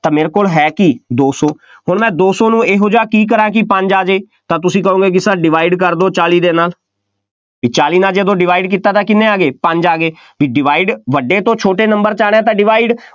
ਤਾਂ ਮੇਰੇ ਕੋਲ ਹੈ ਕੀ, ਦੋ ਸੌ, ਹੁਣ ਮੈਂ ਦੋ ਸੌ ਨੂੰ ਇਹੋ ਜਿਹਾ ਕੀ ਕਰਾਂ ਕਿ ਪੰਜ ਆ ਜਾਏ, ਤਾਂ ਤੁਸੀਂ ਕਹੋਗੇ ਕਿ Sir divide ਕਰ ਦਿਓ, ਚਾਲੀ ਦੇ ਨਾਲ, ਇਹ ਚਾਲੀ ਦੇ ਨਾਲ ਜਦੋਂ divide ਕੀਤਾ ਤਾਂ ਕਿੰਨੇ ਆ ਗਏ, ਪੰਜ ਆ ਗਏ, ਬਈ divide ਵੱਡੇ ਤੋਂ ਛੋਟੇ number 'ਚ ਆਉਣਾ ਤਾਂ divide